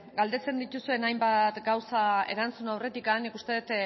galdetzen dituzuen hainbat gauza erantzun aurretik nik uste dut